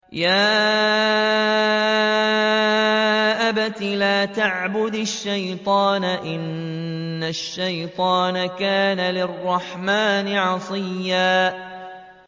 يَا أَبَتِ لَا تَعْبُدِ الشَّيْطَانَ ۖ إِنَّ الشَّيْطَانَ كَانَ لِلرَّحْمَٰنِ عَصِيًّا